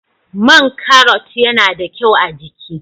Man Karrot yana da kyau a'jiki.